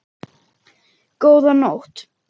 Góða nótt.